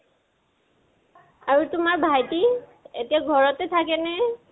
আৰু তোমাৰ ভাইটি, এতিয়া ঘৰতে থাকে নে?